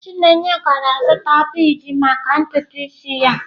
Chineye gara zụta bead maka ntutu isi ya.